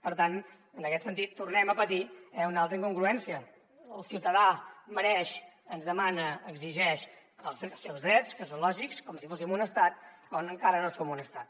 per tant en aquest sentit tornem a patir una altra incongruència el ciutadà mereix ens demana exigeix els seus drets que són lògics com si fóssim un estat quan encara no som un estat